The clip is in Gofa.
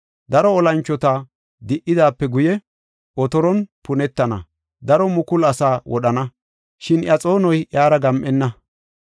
Daro olanchota di77idaape guye, otoron punetana. Daro mukulu asaa wodhana; shin iya xoonoy iyara gam7enna.